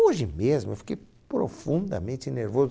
Hoje mesmo eu fiquei profundamente nervoso.